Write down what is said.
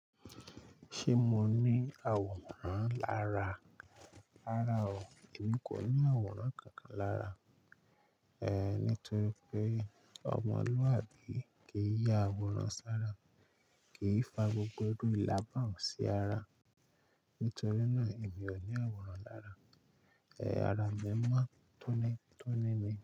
Ṣé mo ní àwòrán lára? Rárá o, èmi kò ní àwòrán kankan lára. Ehn, nítorí pé ọmọlúàbí kì í ya àwòrán sára, kì í fa gbogbo irú ìla bàun sì ara. Nítorí náà èmi ò ní àwòrán lára. Ehn, ara mi mọ́ tónítóní ni.